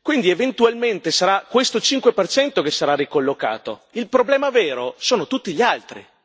quindi, eventualmente, sarà questo 5 per cento che sarà ricollocato. Il problema vero sono tutti gli altri.